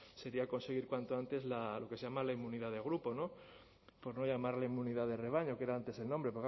sería conseguir cuanto antes lo que se llama la inmunidad de grupo no por no llamarle inmunidad de rebaño que era antes el nombre